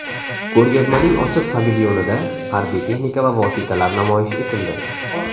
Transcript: Ko‘rgazmaning ochiq pavilyonida harbiy texnika va vositalar namoyish etildi.